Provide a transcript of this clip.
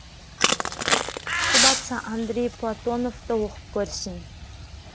тісі батса андрей платоновты оқып көрсін